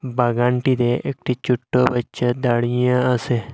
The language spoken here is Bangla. বাগানটিতে একটি ছোট্ট বাচ্চা দাঁড়িয়ে আসে।